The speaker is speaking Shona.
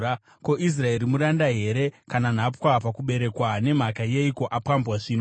Ko, Israeri muranda here, kana nhapwa pakuberekwa? Nemhaka yeiko apambwa zvino?